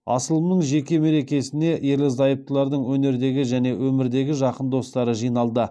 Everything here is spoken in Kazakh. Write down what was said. асылымның жеке мерекесіне ерлі зайыптылардың өнердегі және өмірдегі жақын достары жиналды